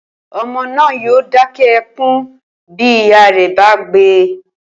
O̩mo̩ náà yóò dáké̩ e̩kún bí ìyá rè̩ bá gbe